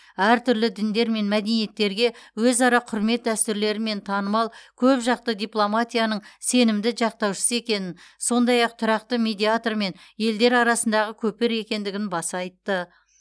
әртүрлі діндер мен мәдениеттерге өзара құрмет дәстүрлерімен танымал көпжақты дипломатияның сенімді жақтаушысы екенін сондай ақ тұрақты медиатор және елдер арасындағы көпір екендігін баса айтты